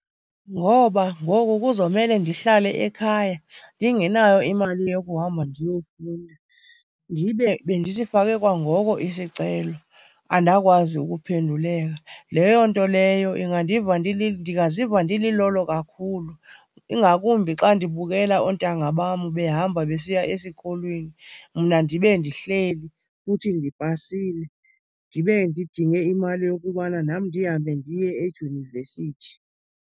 Ngoba ngoku kuzomele ndihlale ekhaya ndingenayo imali yokuhamba ndiyofunda. Ndibe bendisifake kwangoko isicelo andakwazi ukuphenduleka. Leyo nto leyo ingandiva ndingaziva ndililolo kakhulu, ingakumbi xa ndibukela oontanga bam behamba besiya esikolweni mna ndibe ndihleli futhi ndipasile, ndibe ndidinge imali yokubana nam ndihambe ndiye edyunivesithi.